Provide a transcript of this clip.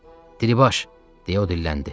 Diribaş, deyə o dilləndi.